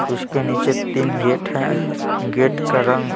उसके नीचे तीन गेट हैं गेट का रंग--